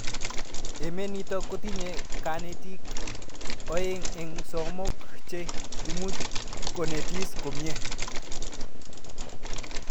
Emet nitok kotinye kanetik aeng eng' somok che imuchi konetis komie